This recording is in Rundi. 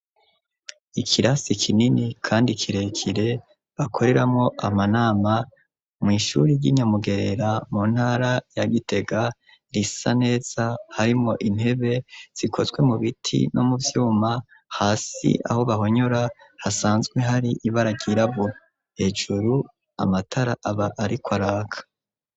Ikirasi kinini kandi kirekire, bakoreramwo amanama, mw'ishuri ry'i Nyamugerera, mu ntara ya Gitega; risa neza, harimwo intebe zikozwe mu biti no mu vyuma; hasi aho bahonyora, hasanzwe hari ibara ryirabura, hejuru, amatara aba ariko araka.